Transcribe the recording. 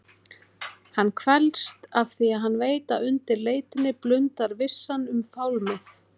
Hann kvelst afþvíað hann veit að undir leitinni blundar vissan um fálmið.